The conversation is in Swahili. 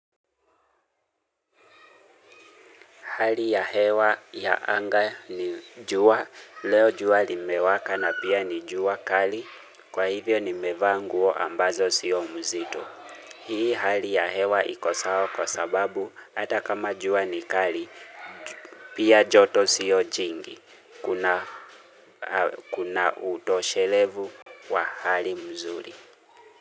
Hali ya hewa ya anga ni jua, leo jua limewaka na pia ni jua kali, kwa hivyo nimevaa nguo ambazo sio nzito. Hii hali ya hewa iko sawa kwa sababu, hata kama jua ni kali, pia joto sio jingi, kuna utoshelevu wa hali nzuri.